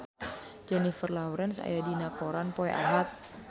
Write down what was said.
Jennifer Lawrence aya dina koran poe Ahad